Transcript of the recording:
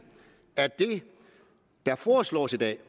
at det der foreslås i dag